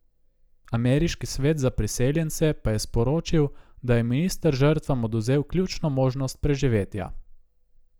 Ameriški svet za priseljence pa je sporočil, da je minister žrtvam odvzel ključno možnost preživetja.